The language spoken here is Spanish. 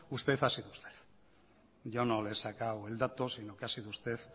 usted ha sido usted yo no le he sacado el dato sino que ha sido usted